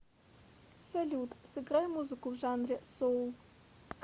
салют сыграй музыку в жанре соул